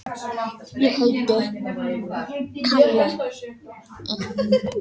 Raufst þögnina í það minnsta fagmannlega.